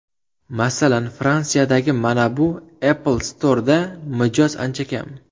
Masalan, Fransiyadagi mana bu Apple Store’da mijoz ancha kam.